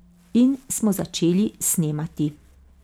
In smo začeli snemati.